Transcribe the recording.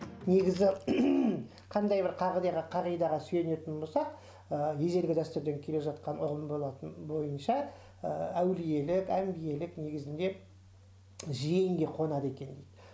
негізі қандай бір қағидаға сүйенетін болсақ ыыы ежелгі дәстүрден келе жатқан ұғым болатын бойынша ыыы әулиелік әмбиелік негізінде жиенге қонады екен дейді